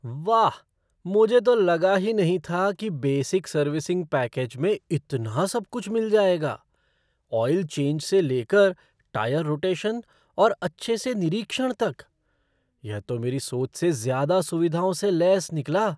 वाह, मुझे तो लगा ही नहीं था कि बेसिक सर्विसिंग पैकेज में इतना सब कुछ मिल जाएगा , ऑइल चेंज से लेकर टायर रोटेशन और अच्छे से निरीक्षण तक। यह तो मेरी सोच से ज़्यादा सुविधाओं से लैस निकला!